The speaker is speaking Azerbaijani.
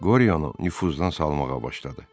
Qoriyanı nüfuzdan salmağa başladı.